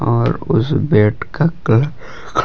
और उस बेड का--